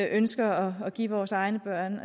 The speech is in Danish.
ønsker at give vores egne børn